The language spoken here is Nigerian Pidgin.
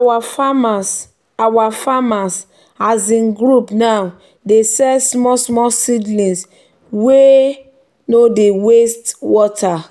our farmers our farmers um group now dey sell small-small seedlings wey um no dey waste um water.